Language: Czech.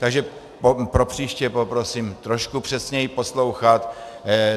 Takže pro příště poprosím trošku přesněji poslouchat.